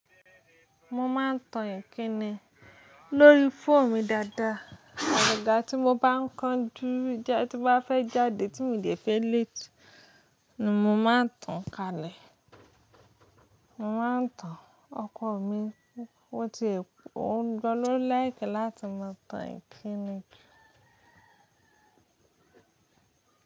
Mo máa ń tan Ìkíni lórí fóòmù dáadáa. Àgagá tí mo bá ń kanju tí mo bá fẹ́ jáde tí mi di fẹ́ léètí ni mo máa ń tan kalẹ̀. Mo máa ń tan ọkọ mi kó ti è kó ń jọ ló lèkẹ́ láti máa tan Ìkíni jù.